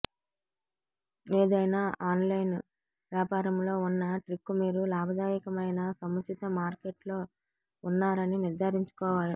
ఏదైనా ఆన్లైన్ వ్యాపారంలో ఉన్న ట్రిక్ మీరు లాభదాయకమైన సముచిత మార్కెట్లో ఉన్నారని నిర్ధారించుకోవాలి